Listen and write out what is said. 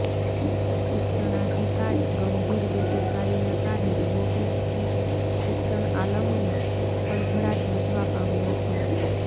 શિક્ષણાધિકારી ગંભીર બેદરકારી ના કારણે નોટિસ થી શિક્ષણ આલમમાં ખળભળાટ મચવા પામ્યો છે